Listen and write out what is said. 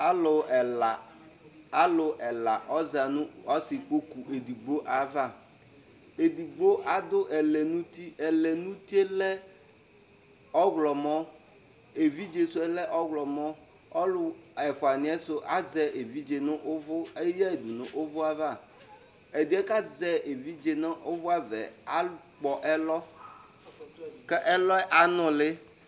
Alu ɛla alu ɛla, ɔza nʋ ɔsikpoku edigbo'avaedigbo adʋ ɛlɛnʋti ɛlɛnuti yɛ lɛ ɔɣlɔmɔevidze su yɛ lɛ ɔɣlɔmɔɔlu ɛfua niyɛ du azɛ evidze nʋ eyayi dunʋ ʋvʋ'avaɛdiyɛ kʋ azɛ evidze nu ʋvi'avɛ akpɔ ɛlɔ kʋ ɛlɔ yɛ anuli